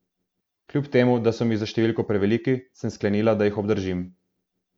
Kljub temu, da so mi za številko preveliki, sem sklenila, da jih obdržim.